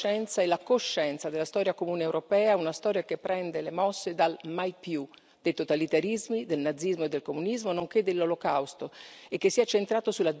Una storia che prende le mosse dal mai più dei totalitarismi, del nazismo e del comunismo, nonché dell'Olocausto, e che si è centrato sulla dignità della persona umana, la libertà e la solidarietà.